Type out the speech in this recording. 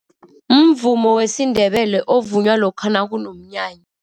Mvumo wesiNdebele ovunywa lokha nakunomnyana.